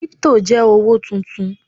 kripto je owo tuntun